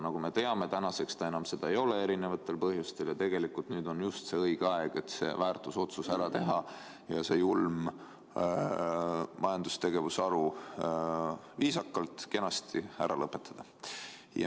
Nagu me teame, täna ta seda eri põhjustel enam ei ole ning tegelikult nüüd on just õige aeg see väärtusotsus ära teha ja see julm majandustegevuse haru viisakalt, kenasti lõpetada.